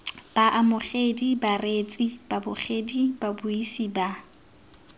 baamogedi bareetsi babogedi babuisi ba